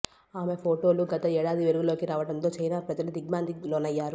ఆమె ఫొటోలు గత ఏడాది వెలుగులోకి రావటంతో చైనా ప్రజలు దిగ్భ్రాంతికి లోనయ్యారు